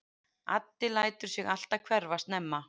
Addi lætur sig alltaf hverfa snemma.